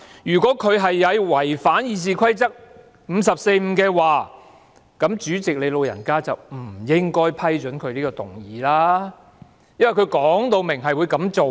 如果他有違反《議事規則》第545條，那麼主席你"老人家"便不應該批准他這項議案，因為他已說明會這樣做。